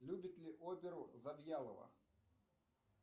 любит ли оперу завьялова